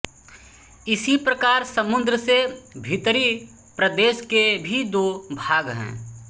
इसी प्रकार समुद्र से भीतरी प्रदेश के भी दो भाग हैं